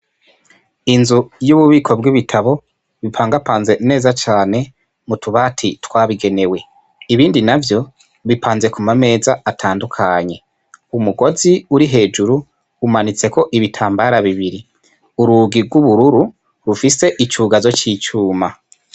Inzu y' ububiko bw' ibitabo bipangapanze neza cane mutu bati twabigenewe, ibindi navyo bipanze kuma meza atandukanye umugozi uri hejuru umanitseko ibitambara bibiri urugi gw' ubururu rufise icugazo c' icuma.